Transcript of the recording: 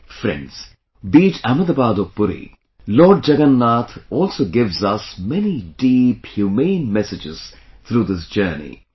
Friends, be it Ahmedabad or Puri, Lord Jagannath also gives us many deep human messages through this journey